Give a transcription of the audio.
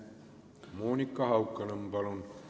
Monika Haukanõmm, palun!